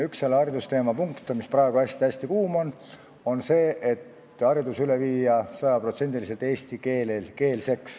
Üks haridusteema punkt, mis on praegu hästi-hästi kuum, on üleminek sajapotsendilisele eestikeelsele haridusele.